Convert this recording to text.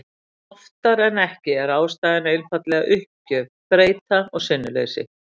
En oftar en ekki er ástæðan einfaldlega uppgjöf, þreyta og sinnuleysi.